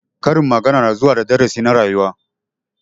Karin magana na zuwa da darasi na rayuwa.